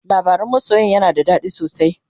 labaran masoyan yana da dadi sosai